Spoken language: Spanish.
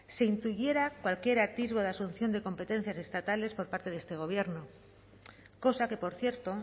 se impidiera cualquier atisbo de asunción de competencias estatales por parte de este gobierno cosa que por cierto